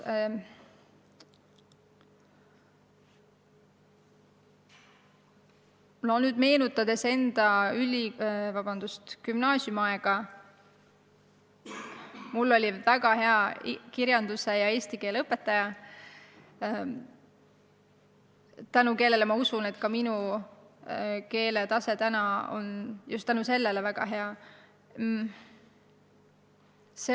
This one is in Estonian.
Kui ma meenutan enda gümnaasiumiaega, siis mul oli väga hea kirjanduse ja eesti keele õpetaja, tänu kellele, ma usun, on minu keeletase väga hea.